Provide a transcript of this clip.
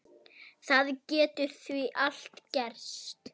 Það getur því allt gerst.